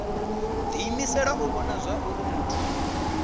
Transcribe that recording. diimisela u vhona zwauri muthu